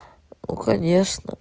ну конечно